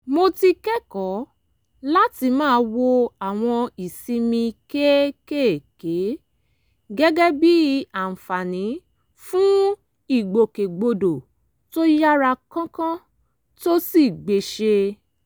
mo ti kẹ́kọ̀ọ́ láti máa wo àwọn ìsinmi kéékèèké gẹ́gẹ́ bí àǹfààní fún ìgbòkègbodò tó yára kánkán tó sì gbéṣẹ́